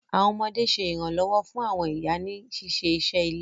Àwọn ọmọdé sè iranlọwọ fún àwọn ìyá ní ṣiṣé iṣé ilé.